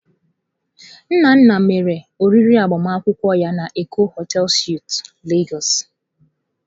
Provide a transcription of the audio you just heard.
Nnanna mere oriri agbamakwụkwọ ya na Eko hotei suitụ Lagos.